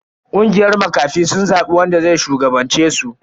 Kungiyar makafi sun zabi wanda zai shugabance su.